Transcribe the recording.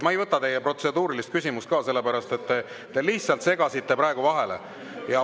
Ma ei võta teie protseduurilist küsimust ka, sellepärast et te lihtsalt segasite praegu vahele.